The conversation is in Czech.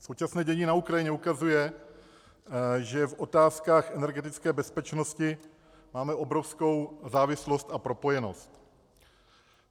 Současné dění na Ukrajině ukazuje, že v otázkách energetické bezpečnosti máme obrovskou závislost a propojenost.